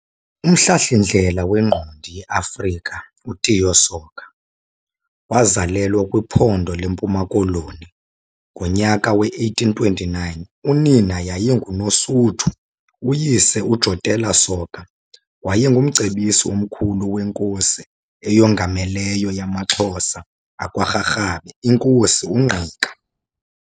Umhlahlindlela wengqondi yeAfrika uTiyo Soga wazalelwa kwiphondo leMpuma Koloni ngonyaka we-1829. Unina yayinguNosuthu, uyise, uJotello Soga wayengumcebisi omkhulu weNkosi eyongameleyo yamaXhosa akwa Rharhabe, iNkosi uNgqika.